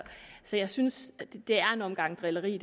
så jeg synes at det det her er en omgang drilleri